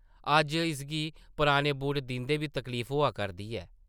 अज्ज इसगी पराने बूट दिंदे बी तकलीफ होआ करदी ऐ ।